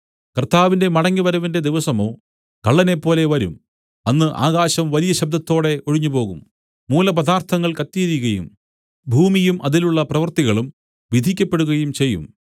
കർത്താവിന്റെ മടങ്ങിവരവിന്റെ ദിവസമോ കള്ളനെപ്പോലെ വരും അന്ന് ആകാശം വലിയ ശബ്ദത്തോടെ ഒഴിഞ്ഞുപോകും മൂലപദാർത്ഥങ്ങൾ കത്തിയെരിയുകയും ഭൂമിയും അതിലുള്ള പ്രവർത്തികളും വിധിക്കപ്പെടുകയും ചെയ്യും